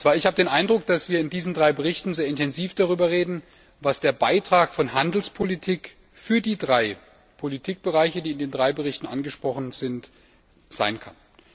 Ich habe den Eindruck, dass wir in diesen drei Berichten sehr intensiv darüber reden, was der Beitrag der Handelspolitik für die drei Politikbereiche, die in den drei Berichten angesprochen werden, sein kann.